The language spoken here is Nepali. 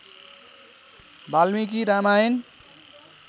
वाल्मीकि रामायण